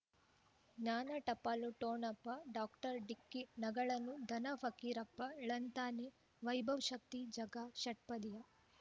ಜ್ಞಾನ ಟಪಾಲು ಠೊಣಪ ಡಾಕ್ಟರ್ ಢಿಕ್ಕಿ ಣಗಳನು ಧನ ಫಕೀರಪ್ಪ ಳಂತಾನೆ ವೈಭವ್ ಶಕ್ತಿ ಝಗಾ ಷಟ್ಪದಿಯ